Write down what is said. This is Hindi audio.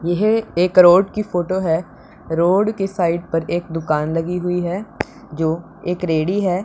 यह एक रोड की फोटो है रोड की साइड पर एक दुकान लगी हुई है जो एक रेड़ी है।